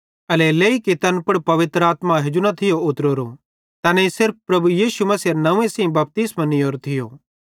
एल्हेरेलेइ कि तैन पुड़ पवित्र आत्मा हेजू न थी उतरोरी तैनेईं सिर्फ प्रभु यीशु मसीहेरे नंव्वे सेइं बपतिस्मो निहीयोरो थियो